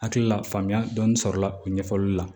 Hakili la faamuya dɔɔnin sɔrɔla o ɲɛfɔli la